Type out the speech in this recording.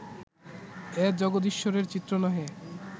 এ জগদীশ্বরের চিত্র নহে